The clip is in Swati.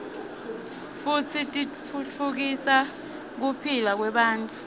futsi titfutfukisa kuphila kwebantfu